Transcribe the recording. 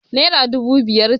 Naira dubu biyar ce.